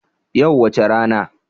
Yau wace rana?